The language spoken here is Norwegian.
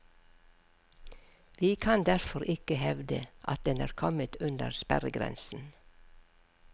Vi kan derfor ikke hevde at den er kommet under sperregrensen.